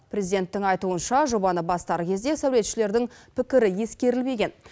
президенттің айтуынша жобаны бастар кезде сәулетшілердің пікірі ескерілмеген